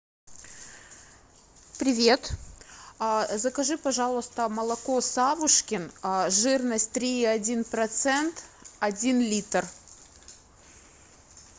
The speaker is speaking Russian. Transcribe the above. привет закажи пожалуйста молоко савушкин жирность три и один процент один литр